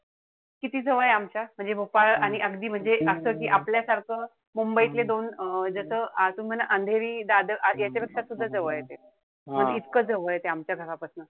किती जवळे आमच्या? म्हणजे भोपाळ आणि अगदी म्हणजे असं कि आपल्यासारखं मुंबईतले दोन जस अजुनपण अंधेरी-दादर याच्यापेक्षा सुद्धा जवळे ते. इतकं जवळे ते आमच्या घरापासन.